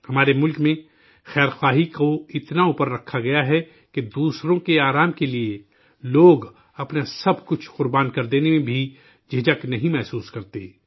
ہمارے ملک میں خدمت کو اتنا اوپر رکھا گیا ہے کہ دوسروں کی خوشی کے لیے، لوگ اپنا سب کچھ قربان کر دینے سے بھی گریز نہیں کرتے